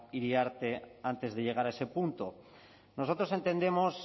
iriarte antes de llegar a ese punto nosotros entendemos